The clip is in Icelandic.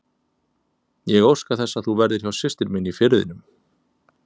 Ég óska þess að þú verðir hjá systur minni í Firðinum.